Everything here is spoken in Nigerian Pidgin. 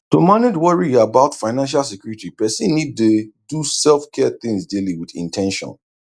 to manage worry about financial security person need dey do selfcare things daily with in ten tion